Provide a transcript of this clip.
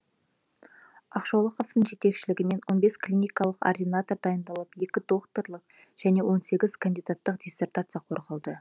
ақшолақовтың жетекшелігімен он бес клиникалық ординатор дайындалып екі докторлық және он сегіз кандидаттық диссертация қорғалды